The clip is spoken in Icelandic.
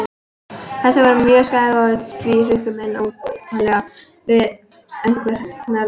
Pestin var mjög skæð og því hrukku menn óneitanlega við ef einhver hnerraði.